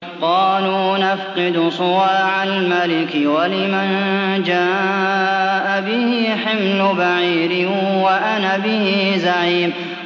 قَالُوا نَفْقِدُ صُوَاعَ الْمَلِكِ وَلِمَن جَاءَ بِهِ حِمْلُ بَعِيرٍ وَأَنَا بِهِ زَعِيمٌ